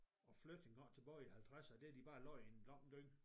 Og flyttet engang tilbage i halvtredser og det har de bare lagt i en lang dynge